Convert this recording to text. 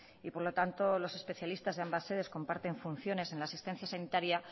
y por lo tanto los especialistas de ambas sedes comparten funciones en la asistencia sanitaria